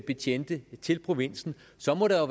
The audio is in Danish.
betjente til provinsen så må der